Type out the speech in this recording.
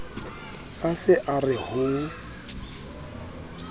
a se a re ho